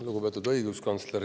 Lugupeetud õiguskantsler!